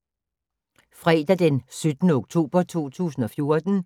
Fredag d. 17. oktober 2014